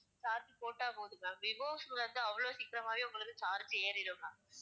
charge போட்டா போதும் ma'am விவோஸ்க்கு வந்து அவ்வளவு சீக்கிரமாவே உங்களுக்கு charge ஏறிடும் ma'am